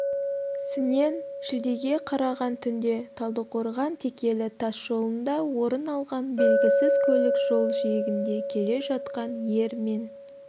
сінен шілдеге қараған түнде талдықорған-текелі тас жолында орыналған белгісіз көлік жол жиегінде келе жатқан ер мен